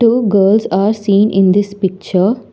Two girls are seen in this picture.